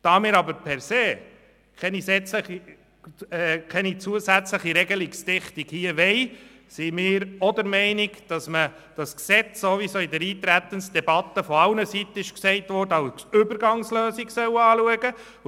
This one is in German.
Da wir aber grundsätzlich keine zusätzliche Regelungsdichte in diesem Bereich haben wollen, sind wir auch der Meinung, dass dieses Gesetz, wie es in der Eintretensdebatte von allen Seiten gesagt wurde, als Übergangslösung betrachtet werden soll.